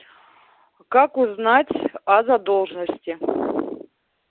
как узнать о задолженности